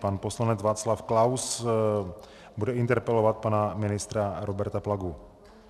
Pan poslanec Václav Klaus bude interpelovat pana ministra Roberta Plagu.